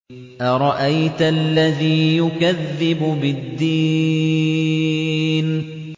أَرَأَيْتَ الَّذِي يُكَذِّبُ بِالدِّينِ